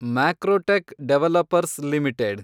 Macrotech Developers limited